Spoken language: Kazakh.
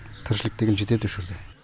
тіршілік деген жетеді осы жерде